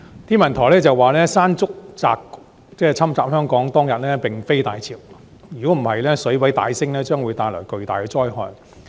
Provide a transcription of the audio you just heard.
天文台說山竹襲港當天並非大潮，否則水位大幅上升會帶來更巨大的災害。